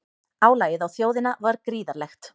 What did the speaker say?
Álagið á þjóðina var gríðarlegt